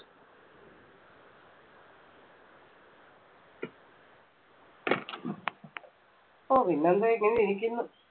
ഓ പിന്നെന്താ ഇങ്ങനെ ഇരിക്കുന്നു.